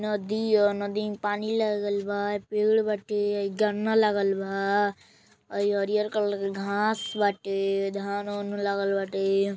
नदी ह। नदी में पानी लागल बा। पेड़ बाटे हई गन्ना लागल बा औरी हरियर कलर के घास बाटे। धान ओन लागल बाटे।